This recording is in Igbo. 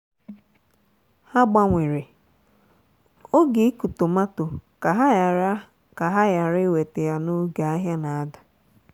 ha gbanwere oge ịkụ tomato ka ha ghara ka ha ghara iweta ya n'oge ahịa na-ada.